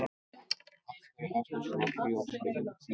Af hverju ertu svona þrjóskur, Jenetta?